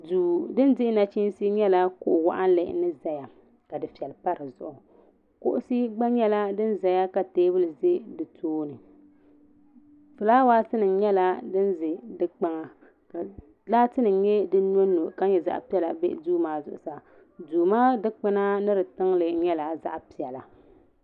do din di nachinisi nyɛla kuɣ' waɣilinli ni ʒɛya ka doƒɛli pa di zuɣ' kuɣisi gba nyɛla din zaya ka tɛbuli za di tuuni ƒulawasi nyɛla din za di kpaŋa ka laati nim nyɛ din nyu ka nyɛ zaɣ' piɛlla n bɛ n bɛ di zuɣ' saa do maa dukpɛna ni di zuɣ' saa nyɛla zaɣ' piɛli